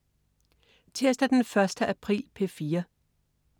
Tirsdag den 1. april - P4: